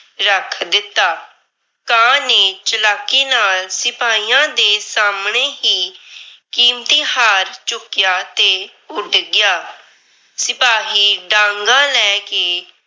ਰੱਖ ਦਿੱਤਾ। ਕਾਂ ਨੇ ਚਲਾਕੀ ਨਾਲ ਸਿਪਾਹੀਆਂ ਦੇ ਸਾਹਮਣੇ ਹੀ ਕੀਮਤੀ ਹਾਰ ਚੁੱਕਿਆ ਤੇ ਉੱਡ ਗਿਆ। ਸਿਪਾਹੀ ਡਾਂਗਾਂ ਲੈ ਕੇ